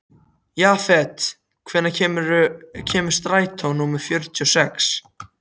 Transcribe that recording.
Jafet, hvenær kemur strætó númer fjörutíu og sex?